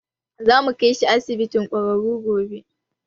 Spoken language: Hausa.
Zamu kaishi asibiti gwararro gobe